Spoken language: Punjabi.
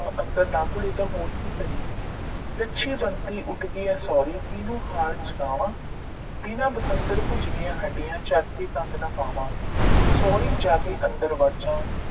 ਅੰਦਰ ਨਾ ਘੁਲੇ ਤਾਂ ਹੋਰ ਕੀ ਕਰੇ। ਲੱਛੀ ਬੰਤੋ ਉੱਠ ਗਈਆਂ ਸਹੁਰੀਂ ਕੀਹਨੂੰ ਹਾਲ ਸੁਣਾਵਾਂ ਬਿਨਾਂ ਬਸੰਤਰ ਭੁੱਜ ਗਈਆਂ ਹੱਡੀਆਂ ਚਰਖੇ ਤੰਦ ਨਾ ਪਾਵਾਂ ਸਹੁਰੀਂ ਜਾ ਕੇ ਅੰਦਰ ਵੜ ਜਾਂ